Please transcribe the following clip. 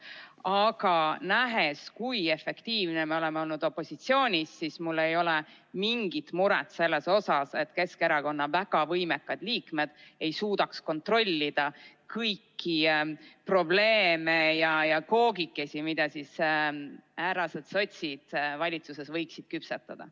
Aga nähes, kui efektiivne me oleme olnud opositsioonis, ei ole mul mingit muret selle pärast, et Keskerakonna väga võimekad liikmed ei suudaks kontrollida kõiki probleeme ja koogikesi, mida härrased sotsid valitsuses võiksid küpsetada.